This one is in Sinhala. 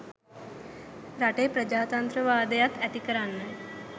රටේ ප්‍රජාත්‍රන්ත්‍රවාදයත් ඇති කරන්නයි.